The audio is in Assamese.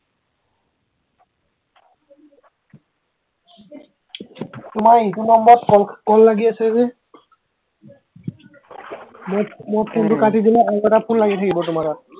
তোমাৰ ইটো নম্বৰত call, call লাগি আছে যে মই মই উম ফোনটো কাটি দিলে আৰু এটা ফোন লাগি থাকিব তোমাৰ তাত